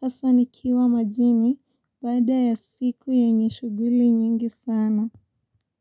hasa nikiwa majini baada ya siku yenye shughuli nyingi sana.